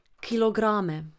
Kilograme.